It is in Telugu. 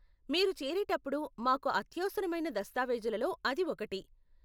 మీరు చేరేటప్పుడు మాకు అత్యవసరమైన దస్తావేజులలో అది ఒకటి.